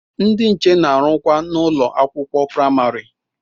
Ndị nche na-arụkwa n'ụlọ akwụkwọ praimari.